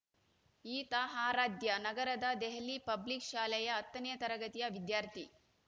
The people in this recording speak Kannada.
ಈತ ಆರಾಧ್ಯ ನಗರದ ದೆಹಲಿ ಪಬ್ಲಿಕ್‌ ಶಾಲೆಯ ಹತ್ತನೇ ತರಗತಿಯ ವಿದ್ಯಾರ್ಥಿ